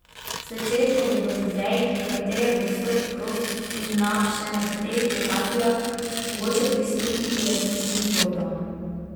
Zvečer pa bo v muzejih, v katere bo vstop prost, in na še nekaterih lokacijah mogoče prisluhniti različnim zgodbam.